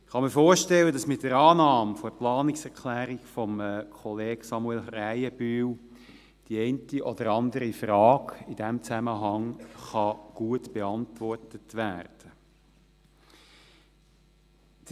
Ich kann mir vorstellen, dass mit der Annahme der Planungserklärung des Kollegen Samuel Krähenbühl die eine oder andere Frage in diesem Zusammenhang gut beantwortet werden kann.